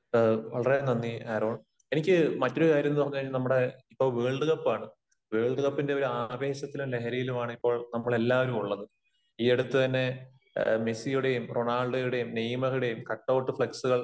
വളരെ നന്ദി ആരോൺ. എനിക്ക് മറ്റൊരു കാര്യം എന്ന് പറഞ്ഞു കഴിഞ്ഞാൽ നമ്മുടെ ഇപ്പോ വേൾഡ് കപ്പാണ്. വേൾഡ് കപ്പിന്റെ ഒരു ആവേശത്തിലും ലഹരിയിലുമാണ് ഇപ്പോൾ നമ്മളെല്ലാവരും ഉള്ളത്. ഈ അടുത്ത് തന്നെ മെസ്സിയുടെയും റൊണാൾഡോയുടെയും നെയ്മറുടെയും കട്ടൗട്ട് ഫ്ലെക്സ്കൾ